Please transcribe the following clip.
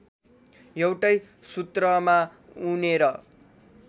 एउटै सूत्रमा उनेर